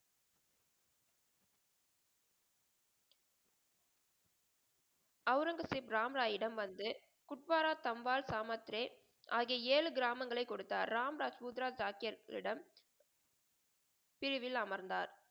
அவுரங்கசீப் ராம் ராயிடம் வந்து குட்வார, தம்பால், சமத்ரே ஆகிய ஏழு கிராமங்களை கொடுத்தார். ராம் தாஸ் ருத்ரா சாக்கியர்களிடம் பிரிவில் அமர்ந்தார்.